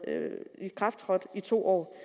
i kraft i to år